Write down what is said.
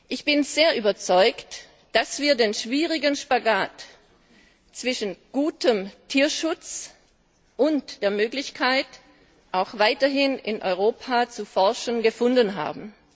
Ich bin völlig überzeugt, dass wir den schwierigen Spagat zwischen gutem Tierschutz und der Möglichkeit, auch weiterhin in Europa zu forschen, gefunden haben.